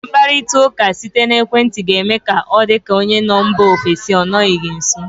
Mkparita ụka site n'ekwenti ga eme ka ọ dị ka onye nọ mba ofesi ọ nọ gị nso.